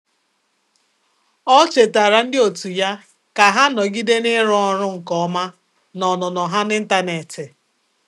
Ọ́ chètàrà ndị otu ya kà há nọ́gídé n’ị́rụ́ ọ́rụ́ nke ọma na ọnụnọ ha n’ị́ntánétị̀.